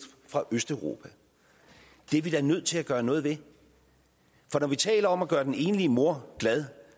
østeuropa det er vi da nødt til at gøre noget ved for når vi taler om at gøre den enlige mor glad